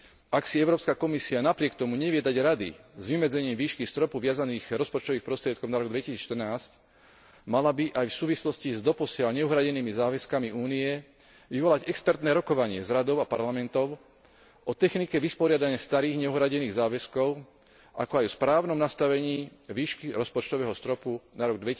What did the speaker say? Ak si Európska komisia napriek tomu nevie dať rady s vymedzením výšky stropu viazaných rozpočtových prostriedkov na rok 2014, mala by aj v súvislosti s doposiaľ neuhradenými záväzkami Únie vyvolať expertné rokovanie s Radou a Parlamentom o technike vysporiadania starých neuhradených záväzkov, ako aj o správnom nastavení výšky rozpočtového stropu na rok